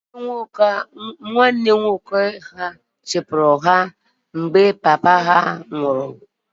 Nwanne nna ha nwoke chụpụrụ ha ka nna ha nwụrụ